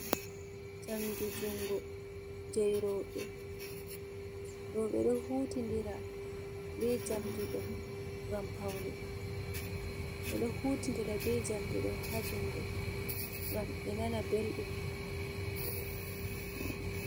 Njamdi njungo jei Robe, ɗo ɓeɗo huti ndira be njamdiɗo gam Pauni, ɓe ɗo Huti ndira be njamdi ɗo ha jJungo ngam ɓen ana Belɗum.